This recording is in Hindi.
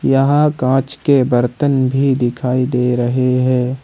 यहां कांच के बर्तन भी दिखाई दे रहे हैं।